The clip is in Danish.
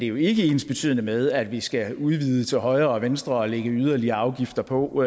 jo ikke ensbetydende med at vi skal udvide til højre og venstre og lægge yderligere afgifter på